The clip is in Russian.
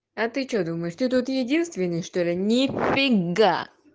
а ты что думаешь ты тут единственный что ли нифига